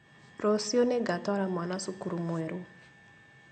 Rũciũ nĩngatwara mwana cukuru mwerũ